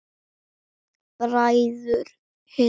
Bræður Hindar